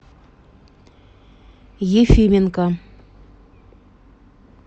ефименко